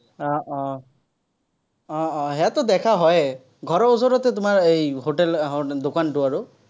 আহ আহ আহ ইয়াততো দেখা হয়েই। ঘৰৰ ওচৰতে তোমাৰ এৰ hotel হম দোকানটো আৰু।